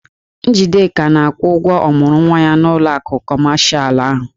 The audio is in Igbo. Njideka na-akwụ ụgwọ ọmụrụnwa ya n'ụlọ akụ kọmashalụ ahụ.